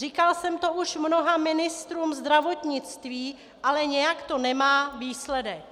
Říkala jsem to už mnoha ministrům zdravotnictví, ale nějak to nemá výsledek.